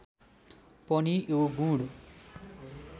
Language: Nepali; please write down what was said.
पनि यो गुण